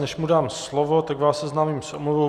Než mu dám slovo, tak vás seznámím s omluvou.